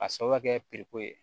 A sababu ka kɛ ye